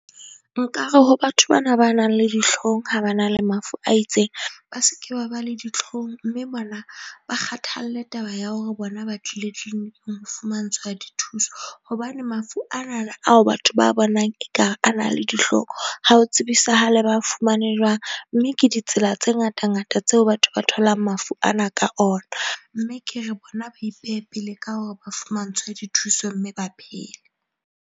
Nkare ho batho bana ba nang le dihlohong, ha ba na le mafu a itseng, ba se ke ba ba le ditlhong mme bona ba kgathalle taba ya hore bona ba tlile clinic-ing ho fumantshwa dithuso. Hobane mafu a na na ao batho ba a bonang ekare a na le dihlong ha ho tsebisahale, ba fumane jwang. Mme ke ditsela tse ngata ngata tseo batho ba tholang mafu ana ka ona mme ke re bona ba ipehe pele ka hore ba fumantshwe dithuso mme ba phele.